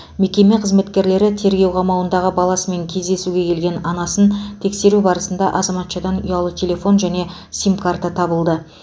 мекеме қызметкерлері тергеу қамауындағы баласымен кездесуге келген анасын тексеру барысында азаматшадан ұялы телефон және сим карта табылды